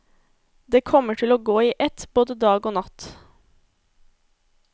Det kommer til å gå i ett både dag og natt.